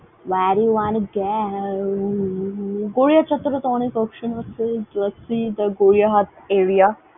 Where you wanna go গড়িয়ারটার চত্বরে তো অনেক option আছে। the গড়িয়াহাটা area ।